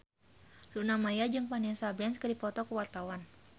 Luna Maya jeung Vanessa Branch keur dipoto ku wartawan